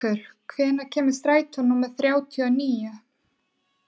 Gaukur, hvenær kemur strætó númer þrjátíu og níu?